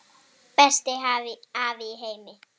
Besti afi í heimi.